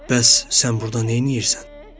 Bəs sən burda neynirsən?